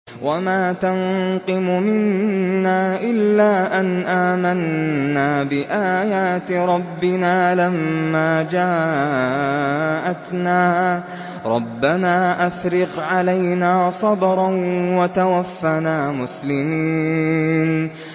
وَمَا تَنقِمُ مِنَّا إِلَّا أَنْ آمَنَّا بِآيَاتِ رَبِّنَا لَمَّا جَاءَتْنَا ۚ رَبَّنَا أَفْرِغْ عَلَيْنَا صَبْرًا وَتَوَفَّنَا مُسْلِمِينَ